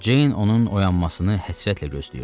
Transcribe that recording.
Ceyn onun oyanmasını həsrətlə gözləyirdi.